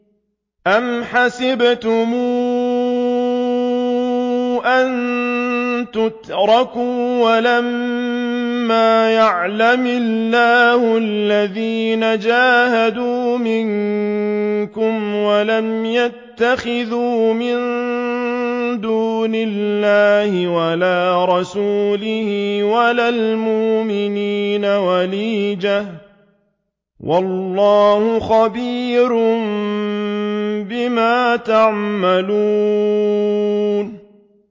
أَمْ حَسِبْتُمْ أَن تُتْرَكُوا وَلَمَّا يَعْلَمِ اللَّهُ الَّذِينَ جَاهَدُوا مِنكُمْ وَلَمْ يَتَّخِذُوا مِن دُونِ اللَّهِ وَلَا رَسُولِهِ وَلَا الْمُؤْمِنِينَ وَلِيجَةً ۚ وَاللَّهُ خَبِيرٌ بِمَا تَعْمَلُونَ